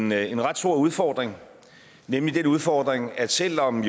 med en ret stor udfordring nemlig den udfordring at selv om